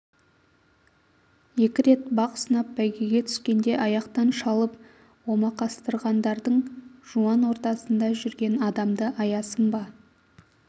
екі рет бақ сынап бәйгеге түскенде аяқтан шалып омақастырғандардың жуан ортасында жүрген адамды аясын ба